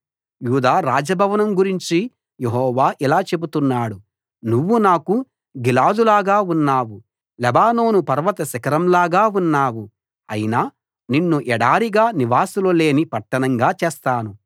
యూదా రాజభవనం గురించి యెహోవా ఇలా చెబుతున్నాడు నాకు నువ్వు గిలాదులాగా ఉన్నావు లెబానోను పర్వత శిఖరంలాగా ఉన్నావు అయినా నిన్ను ఎడారిగా నివాసులు లేని పట్టణంగా చేస్తాను